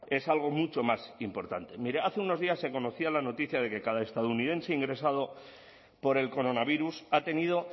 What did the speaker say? es algo mucho más importante mire hace unos días se conocía la noticia de que cada estadounidense ingresado por el coronavirus ha tenido